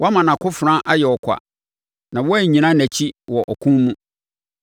Woama nʼakofena ayɛ ɔkwa, na woannyina nʼakyi wɔ ɔko mu.